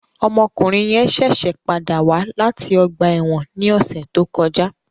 Ọmọkunrin yẹn ṣẹṣẹ pada wa lati ọgba ẹ́wọ̀n ni ọsẹ to kọja